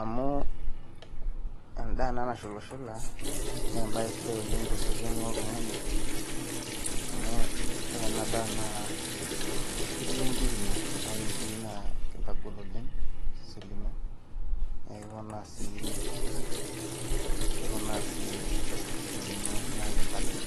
Amu endaa ena nashulashula naa embaye sidai tosesen loltung'ani amu ore ena daa ketii enkirin'go naa ore inkirik naa ekintagol oleng osesen lino naa ekiponaa sii keponaa sii esapuko osese lino naa ekintagol